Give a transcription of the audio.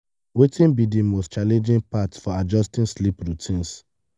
wetin be di most challenging part for adjusting sleep routines?